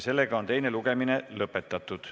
Teine lugemine on lõpetatud.